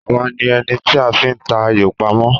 Àwa ni ẹni tí a fi ń ta ayò pamọ́?